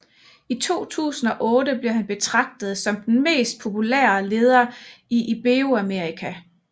I 2008 blev han betragtet som den mest populære leder i Iberoamerika